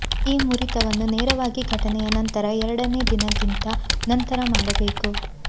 ಈ ಮುರಿತವನ್ನು ನೇರವಾಗಿ ಘಟನೆಯ ನಂತರ ಎರಡನೇ ದಿನ ಗಿಂತ ನಂತರ ಮಾಡಬೇಕು